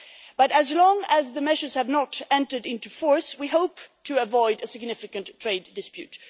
But as long as the measures have not entered into force, we hope to avoid a significant trade dispute.